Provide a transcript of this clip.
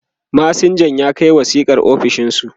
masinjan ya Kai wasiƙar ofishinsu